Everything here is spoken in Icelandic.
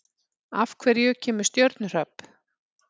Af hverju kemur stjörnuhrap?